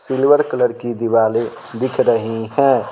Silver colour की दिवाली दिख रही है।